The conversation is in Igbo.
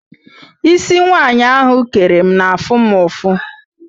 Ísí nwaanyị ahụ kere m na-afụ mụ ụfụ.